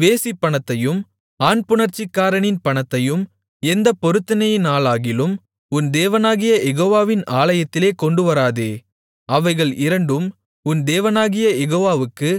வேசிப்பணத்தையும் ஆண்புணர்ச்சிக்காரனின் பணத்தையும் எந்தப் பொருத்தனையினாலாகிலும் உன் தேவனாகிய யெகோவாவின் ஆலயத்திலே கொண்டுவராதே அவைகள் இரண்டும் உன் தேவனாகிய யெகோவாவுக்கு